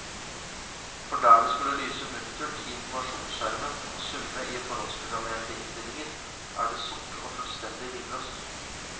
For der det skulle lyse muntert i informasjonsskjermen og summe i forhåndsprogrammerte innstillinger, er det sort og fullstendig livløst.